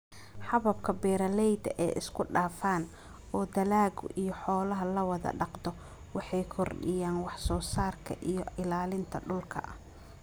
Hababka beeralayda ee isku-dhafan, oo dalagga iyo xoolaha la wada dhaqdo, waxay kordhiyaan wax-soo-saarka iyo ilaalinta dhulka.